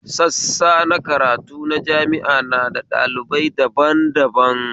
Sassa na karatu na jami'a na da ɗalibai daban daban